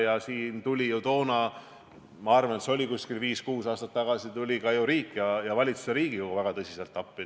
Ja siin tulid ju toona – ma arvan, see oli viis-kuus aastat tagasi – ka riik ja valitsus ja Riigikogu väga tõsiselt appi.